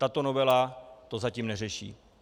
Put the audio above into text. Tato novela to zatím neřeší.